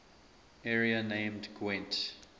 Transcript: area named gwent